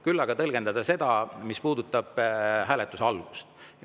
Küll aga tõlgendan seda, mis puudutab hääletuse algust.